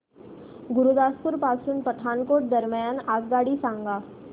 गुरुदासपुर पासून पठाणकोट दरम्यान आगगाडी सांगा